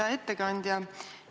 Hea ettekandja!